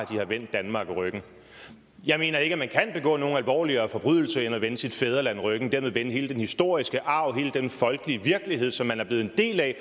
de har vendt danmark ryggen jeg mener ikke at man kan begå nogen alvorligere forbrydelse end at vende sit fædreland ryggen og dermed vende hele den historiske arv hele den folkelige virkelighed som man er blevet en del af